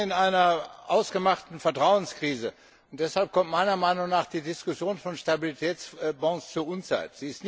Wir stecken in einer ausgemachten Vertrauenskrise. Deshalb kommt meiner Meinung nach die Diskussion über Stabilitätsbonds zur Unzeit.